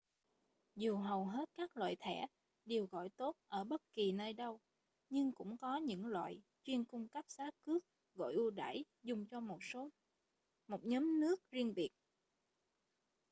dù hầu hết các loại thẻ đều gọi tốt ở bất kì nơi đâu nhưng cũng có những loại chuyên cung cấp giá cước gọi ưu đãi dùng cho một nhóm nước riêng biệt